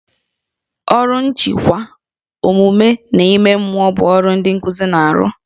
Ọrụ nchịkwa, omume na ime mmụọ bụ ọrụ ndị nkuzi na-arụ